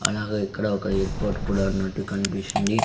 అలాగే ఇక్కడ ఒక ఎయిర్ పోర్ట్ కుడా ఉన్నట్టు కనిపిస్తుంది.